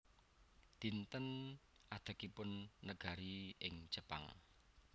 Dinten Adegipun Negari ing Jepang